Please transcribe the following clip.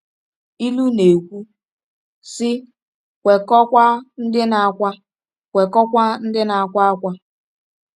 Ilu na-ekwu sị: “Kwekọọkwa ndị na-akwa “Kwekọọkwa ndị na-akwa akwa.”